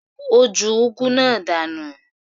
Ó ju úgú náà dànù.